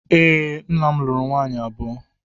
E, nna'm luru nwaanyị abụọ.